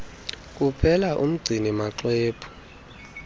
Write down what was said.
kuphela umgcini maxwebhu